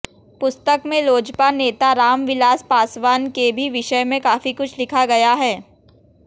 पुस्तक में लोजपा नेता रामविलास पासवान के भी विषय में काफी कुछ लिखा गया है